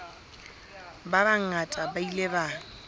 ba bangata ba ile ba